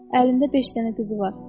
Əlində beş dənə qızı var.